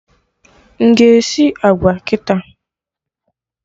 M ga-esi agwa kịta?